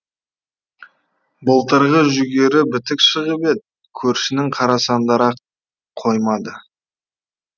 былтырғы жүгері бітік шығып еді көршінің қара сандары ақ қоймады